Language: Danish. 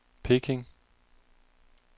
Peking